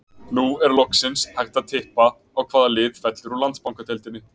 Nú er loksins hægt að tippa á hvaða lið fellur úr Landsbankadeildinni.